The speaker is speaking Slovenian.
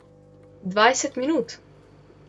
Dvajset minut?